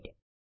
date